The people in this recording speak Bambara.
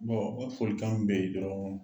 o folikan min bɛ yen dɔrɔn